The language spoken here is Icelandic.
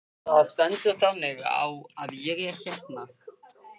Það stendur þannig á að ég hérna.